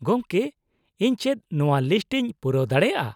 ᱜᱚᱝᱠᱮ ᱤᱧ ᱪᱮᱫ ᱱᱚᱶᱟ ᱞᱤᱥᱴ ᱤᱧ ᱯᱩᱨᱟᱹᱣ ᱫᱟᱲᱮᱭᱟᱜᱼᱟ ?